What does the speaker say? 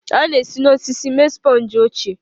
A na-esi n'osisi mee sponge ochie.